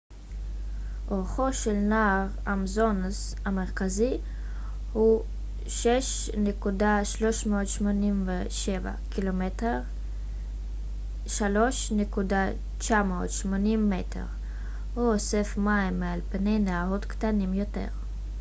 "אורכו של נהר האמזונס המרכזי הוא 6,387 ק""מ 3,980 מייל. הוא אוסף מים מאלפי נהרות קטנים יותר.